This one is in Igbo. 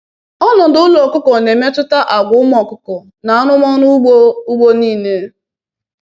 “Ọnọdụ ụlọ ọkụkọ na-emetụta àgwà ụmụ ọkụkọ na arụmọrụ ugbo ugbo niile